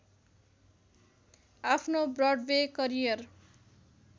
आफ्नो Broadway career